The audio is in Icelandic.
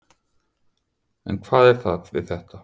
En hvað er það við þetta?